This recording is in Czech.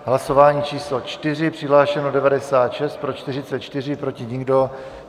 Hlasování číslo 4, přihlášeno 96, pro 44, proti nikdo.